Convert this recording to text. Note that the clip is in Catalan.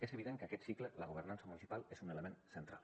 és evident que en aquest cicle la governança municipal és un element central